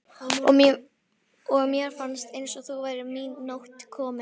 og mér fannst eins og nú væri mín nótt komin.